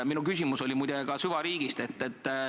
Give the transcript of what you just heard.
Minu küsimus oli muide ka süvariigist.